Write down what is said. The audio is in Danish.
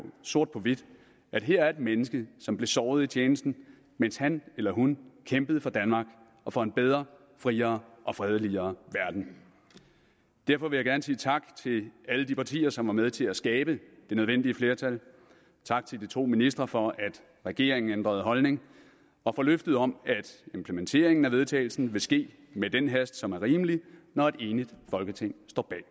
sort på hvidt at her er et menneske som blev såret i tjenesten mens han eller hun kæmpede for danmark og for en bedre friere og fredeligere verden derfor vil jeg gerne sige tak til alle de partier som var med til at skabe det nødvendige flertal tak til de to ministre for at regeringen ændrede holdning og for løftet om at vedtagelse vil ske med den hast som er rimelig når et enigt folketing står bag